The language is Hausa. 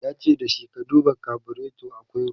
yace da shi " ka duba carburator akwai ruwa!"